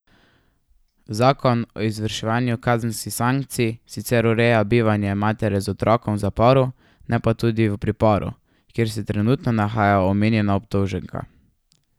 Zakon o izvrševanju kazenskih sankcij sicer ureja bivanje matere z otrokom v zaporu, ne pa tudi v priporu, kjer se trenutno nahaja omenjena obdolženka.